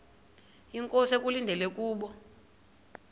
inkosi ekulindele kubo